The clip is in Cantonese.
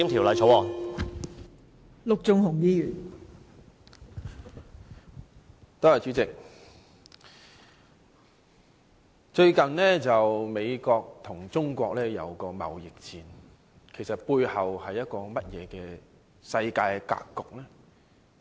代理主席，最近，美國和中國進行貿易戰，背後的世界格局究竟如何？